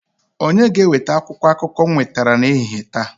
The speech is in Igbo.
Onye ga-eweta akwụkwọ akụkọ m nwetara n'ehihie taa?